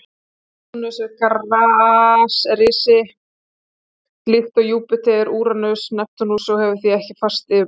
Satúrnus er gasrisi líkt og Júpíter, Úranus og Neptúnus og hefur því ekkert fast yfirborð.